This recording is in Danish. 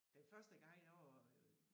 Den første gang jeg var øh